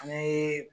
An bɛ